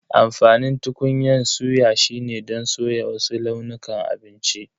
Amfanin tukunyan suya shine don soya wasu launukan abinci.